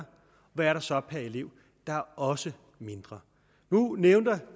hvad der så er per elev der er også mindre nu nævner